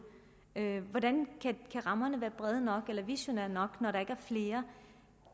hvordan kan rammerne være brede eller visionære nok når der ikke er flere